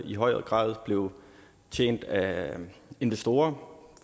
i højere grad blev tjent af investorer